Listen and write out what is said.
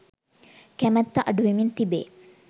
කැමැත්ත අඩු වෙමින් තිබේ.